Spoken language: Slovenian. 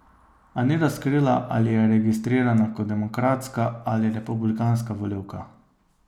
A ni razkrila, ali je registrirana kot demokratska ali republikanska volivka.